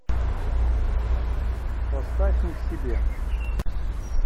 поставь не в себе